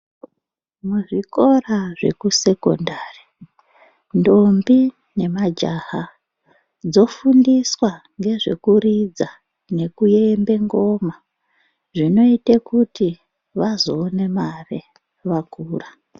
Muzvikora zvekusekondari ndombi nemajaha dzofundiswa ngezvekuridza nekuembe ngoma. Zvinoite kuti vazoone mare vakura.